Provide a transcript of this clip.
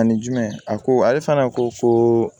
Ani jumɛn a ko ale fana ko ko